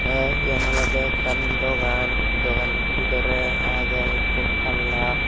te eyan olode ekkan dogan dogan bidore agey ekko palla.